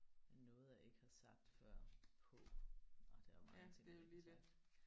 Med noget jeg ikke har sagt før på. Ej der er jo mange ting jeg har sagt